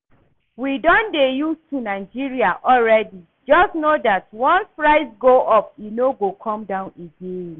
We don dey used to Nigeria already. Just know dat once price go up e no go come down again